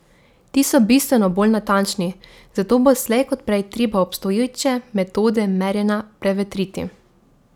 Ti so bistveno bolj natančni, zato bo slej kot prej treba obstoječe metode merjenja prevetriti.